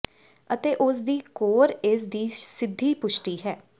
ਅਤੇ ਉਸ ਦੀ ਕੋਰ ਇਸ ਦੀ ਸਿੱਧੀ ਪੁਸ਼ਟੀ ਹੈ